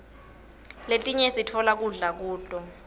letinye sitfola kudla kuto